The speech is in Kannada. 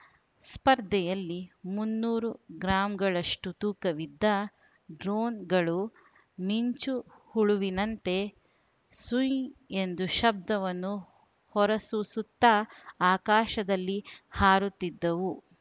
ಸ್ಪರ್ಧೆಯಲ್ಲಿ ಮುನ್ನೂರು ಗ್ರಾಂಗಳಷ್ಟುತೂಕವಿದ್ದ ಡ್ರೋನ್‌ಗಳು ಮಿಂಚು ಹುಳುವಿನಂತೆ ಸುಂಯ್‌ ಎಂದು ಶಬ್ದವನ್ನು ಹೊರಸೂಸುತ್ತಾ ಆಕಾಶದಲ್ಲಿ ಹಾರುತ್ತಿದ್ದವು